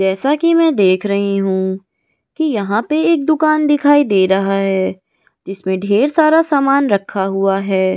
जैसा कि मैं देख रही हूं कि यहां पर एक दुकान दिखाई दे रहा है जिसमें ढेर सारा सामान रखा हुआ है ।